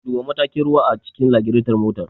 Duba matakin ruwa a cikin lagiraton motar.